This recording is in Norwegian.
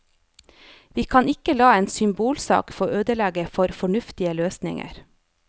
Vi kan ikke la en symbolsak få ødelegge for fornuftige løsninger.